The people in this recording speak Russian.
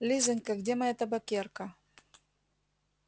лизанька где моя табакерка